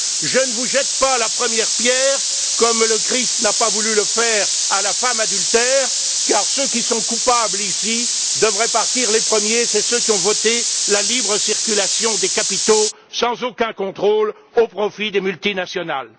Je ne vous jette pas la première pierre, comme le Christ n'a pas voulu le faire à la femme adultère, car ceux qui sont coupables ici devraient partir les premiers. Ce sont ceux là même qui ont voté la libre circulation des capitaux, sans aucun contrôle, au profit des multinationales.